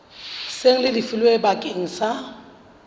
seng le lefilwe bakeng sa